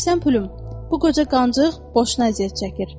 Eşidirsən Pülüm, bu qoca qancıq boşuna əziyyət çəkir.